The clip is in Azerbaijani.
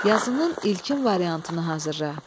Yazının ilkin variantını hazırla.